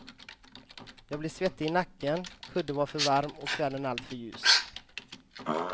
Jag blev svettig i nacken, kudden var för varm och kvällen alltför ljus.